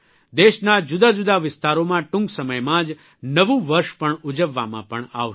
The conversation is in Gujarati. દેશના જુદાજુદા વિસ્તારોમાં ટૂંક સમયમાં જ નવું વર્ષ પણ ઉજવવામાં પણ આવશે